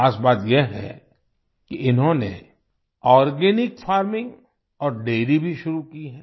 खास बात यह है कि इन्होंने आर्गेनिक फार्मिंग और डैरी भी शुरू की है